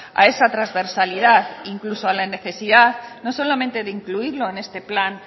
a esa transversalidad e incluso a la necesidad no solamente de incluirlo en este plan